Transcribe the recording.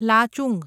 Lachung